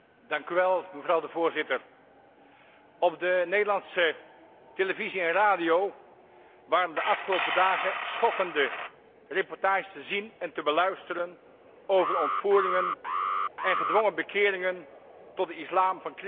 Op de Nederlandse televisie en radio waren de afgelopen dagen schokkende reportages te zien en te beluisteren over de ontvoeringen en gedwongen bekeringen tot de islam van christelijke meisjes en vrouwen in Egypte.